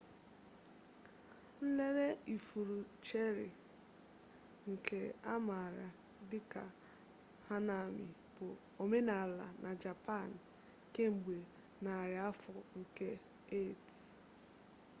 nlere ifuru cheri nke a maara dị ka hanami bụ omenala na japan kemgbe nari afọ nke 8